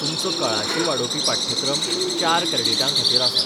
तुमचो कळाशी वाडोवपी पाठ्यक्रम चार क्रॅडिटांखातीर आसा.